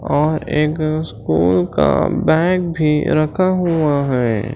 और एक स्कूल का बैग भी रखा हुआ है।